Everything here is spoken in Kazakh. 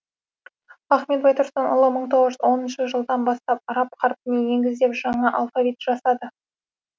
ахмет байтұрсынұлы мың тоғыз жүз оныншы жылдан бастап араб қарпіне негіздеп жаңа алфавит жасады